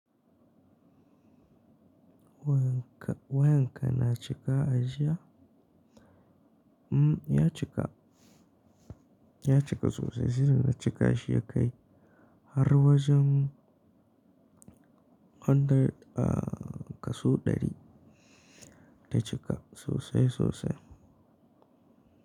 Wayan ka, wayan ka na cika a jiya? Mm, ya cika, ya cika sosai. Sai da na cika shi ya kai har wajen hundred, ah kaso ɗari. Ya cika sosai sosai.